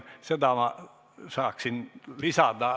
Seda ma saaksin lisada.